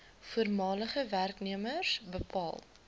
voormalige werknemers bepaal